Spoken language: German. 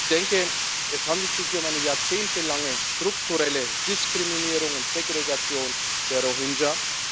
Ich denke, es handelt sich hier um eine jahrzehntelange, strukturelle Diskriminierung und Segregation der Rohingya.